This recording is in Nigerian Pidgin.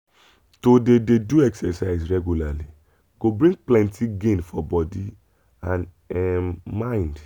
to dey dey do exercise regularly go bring plenty gain for body and um mind